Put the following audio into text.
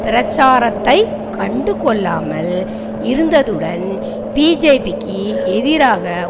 பிரச்சாரத்தை கண்டுகொள்ளாமல் இருந்ததுடன் பிஜேபிக்கு எதிராக